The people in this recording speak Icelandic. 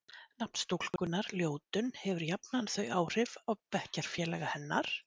Nafn stúlkunnar, Ljótunn, hefur jafnan þau áhrif á bekkjarfélaga hennar